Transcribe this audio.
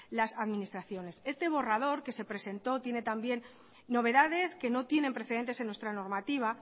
las administraciones este borrador que se presentó tiene también novedades que no tienen precedentes en nuestra normativa